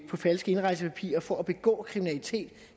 på falske indrejsepapirer for at begå kriminalitet